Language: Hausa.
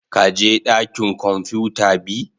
ka je dakin kwamfuta be?